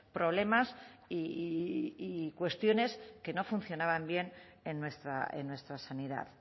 problemas y cuestiones que no funcionaban bien en nuestra sanidad